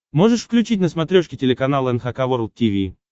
можешь включить на смотрешке телеканал эн эйч кей волд ти ви